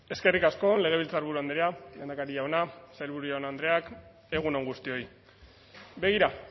eskerrik asko legebiltzarburu andrea lehendakari jauna sailburu jaun andreak egun on guztioi begira